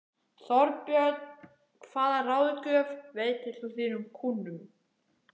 Þorbjörn: Hvaða ráðgjöf veitir þú þínum kúnnum?